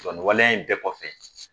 Ga nin waleya in bɛɛ kɔfɛ